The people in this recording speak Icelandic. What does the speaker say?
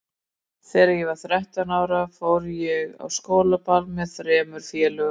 Þegar ég var þrettán ára fór ég á skólaball með þremur félögum.